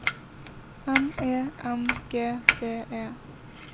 M E N G D E